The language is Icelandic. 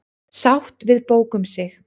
Sátt við bók um sig